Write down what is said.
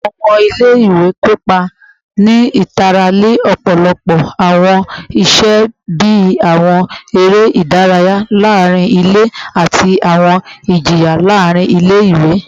Awọn ọmọ ile-iwe kopa ni itara ni ọpọlọpọ awọn iṣe bii awọn ere idaraya laarin ile ati awọn ijiyan laarin ile-iwe